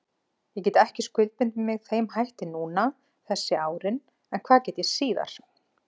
Ég get ekki skuldbundið mig þeim hætti núna þessi árin en hvað get ég síðar?